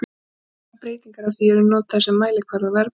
Hlutfallslegar breytingar á því eru notaðar sem mælikvarði á verðbólgu.